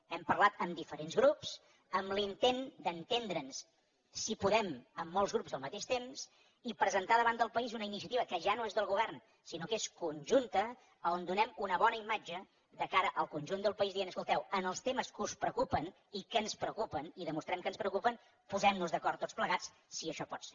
hem parlat amb diferents grups amb l’intent d’entendre’ns si podem amb molts grups al mateix temps i presentar davant del país una iniciativa que ja no és del govern sinó que és conjunta on donem una bona imatge de cara al conjunt del país dient escolteu en els temes que us preocupen i que ens preocupen i demostrem que ens preocupen posem nos d’acord tots plegats si això pot ser